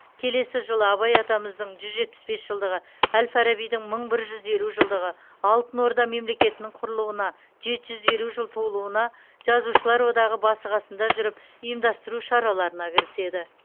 келесі жылы абай атамыздың жүз жетпіс бес жылдығы әл фарабидің мың бір жүз елу жылдығы алтын орда мемлекетінің құрылуына жеті жүз елу жыл толуына жазушылар одағы басы қасында жүріп ұйымдастыру шараларына кіріседі